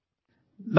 Audio